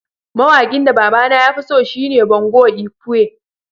Mawakin da baba na ya fi so shine Bongo lkwe.